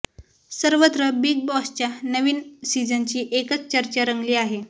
सर्वत्र बिग बॉसच्या नवीन सीझनची एकच चर्चा रंगली आहे